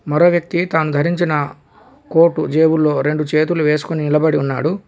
మరో వ్యక్తి తాను ధరించిన కోటు జేబులో రెండు చేతులు వేసుకొని నిలబడి ఉన్నాడు.